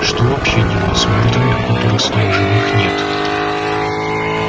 что вообще делают с мёртвыми у которых своих живых нет